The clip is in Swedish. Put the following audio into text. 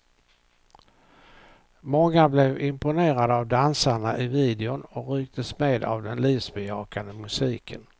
Många blev imponerade av dansarna i videon och rycktes med av den livsbejakande musiken.